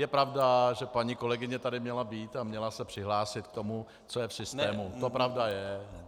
Je pravda, že paní kolegyně tady měla být a měla se přihlásit k tomu, co je v systému, to pravda je.